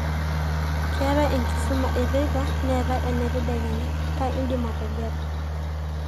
keetae enkisuma eteipa neetae ena tadekenya, kaa indimategelu